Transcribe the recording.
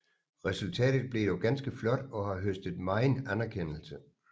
Resultatet blev dog ganske flot og har høstet megen anerkendelse